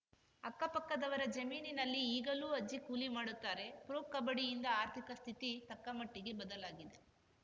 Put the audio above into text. ಅಕ್ಕಪಕ್ಕದವರ ಜಮೀನಿನಲ್ಲಿ ಈಗಲೂ ಅಜ್ಜಿ ಕೂಲಿ ಮಾಡುತ್ತಾರೆ ಪ್ರೊ ಕಬಡ್ಡಿಯಿಂದ ಆರ್ಥಿಕ ಸ್ಥಿತಿ ತಕ್ಕಮಟ್ಟಿಗೆ ಬದಲಾಗಿದೆ